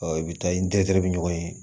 i bɛ taa i tɛgɛ bɛ ɲɔgɔn ye